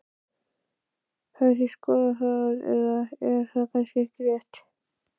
Hafið þið skoðað það eða er það kannski ekki rétt?